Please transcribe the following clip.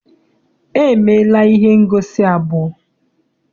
E meela ihe ngosi abụọ.